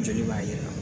Joli b'a yira